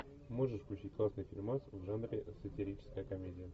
можешь включить классный фильмас в жанре сатирическая комедия